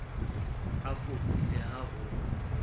a fotse le ha ho